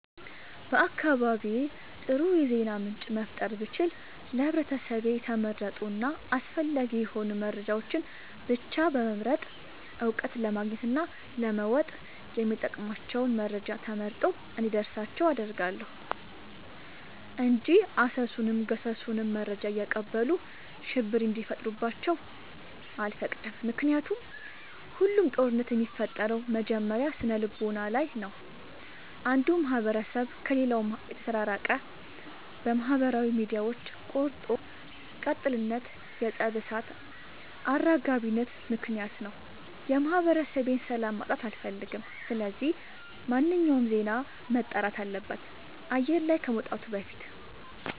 በአካባቢዬ አጥሩ የዜና ምንጭ መፍጠር ብችል ለህብረተሰቤ የተመረጡ እና አስፈላጊ የሆኑ መረጃዎችን ብቻ በመምረጥ እውቀት ለማግኘት እና ለመወጥ የሚጠቅሟቸውን መረጃ ተመርጦ እንዲደርሳቸው አደርጋለሁ። እንጂ አሰሱንም ገሰሱንም መረጃ እያቀበሉ ሽብር እንዲፈጥሩባቸው አልፈቅድም ምክንያቱም ሁሉም ጦርነት የሚፈጠረው መጀመሪያ ስነልቦና ላይ ነው። አንዱ ማህበረሰብ ከሌላው የተራራቀው በማህበራዊ ሚዲያዎች ቆርጦ ቀጥልነት የፀብ እሳት አራጋቢነት ምክንያት ነው። የማህበረሰቤን ሰላም ማጣት አልፈልግም ስለዚህ ማንኛውም ዜና መጣራት አለበት አየር ላይ ከመውጣቱ በፊት።